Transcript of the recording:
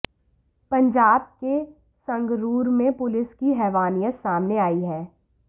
पंजाब के संगरूर में पुलिस की हैवानियत सामने आई है